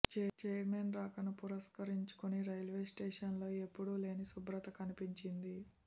chairman రాకను పురస్కరించుకుని railway స్టేషన్లో ఎప్పుడూ లేని శుభ్రత కనిపించింది